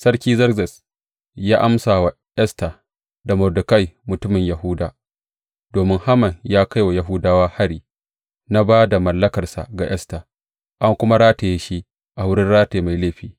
Sarki Zerzes ya amsa wa Esta da Mordekai mutumin Yahuda, Domin Haman ya kai wa Yahudawa hari, na ba da mallakarsa ga Esta, an kuma rataye shi a wurin rataye mai laifi.